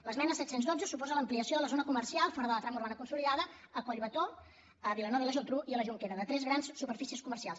l’esmena set cents i dotze suposa l’ampliació de la zona comercial fora de la trama urbana consolidada a collbató a vilanova i la geltrú i a la jonquera de tres grans superfícies comercials